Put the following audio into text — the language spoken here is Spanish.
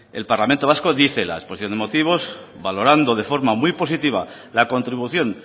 el parlamento vasco dice en la exposición de motivos valorando de forma muy positiva la contribución